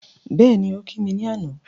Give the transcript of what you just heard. Bẹ́ẹ̀ni, ó kí mi ní àná